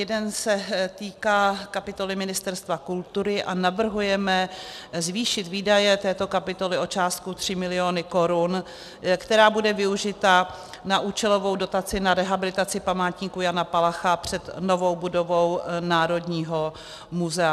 Jeden se týká kapitoly Ministerstva kultury a navrhujeme zvýšit výdaje této kapitoly o částku 3 mil. korun, která bude využita na účelovou dotaci na rehabilitaci památníku Jana Palacha před novou budovou Národního muzea.